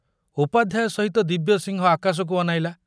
ଉପାଧ୍ୟାୟ ସହିତ ଦିବ୍ୟସିଂହ ଆକାଶକୁ ଅନାଇଲା।